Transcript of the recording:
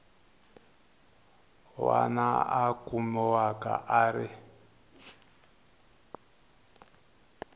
wana a kumiwaka a ri